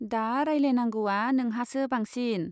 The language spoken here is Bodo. दा रायलायनांगौवा नोंहासो बांसिन।